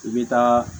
I bɛ taa